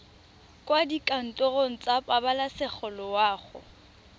kwa dikantorong tsa pabalesego loago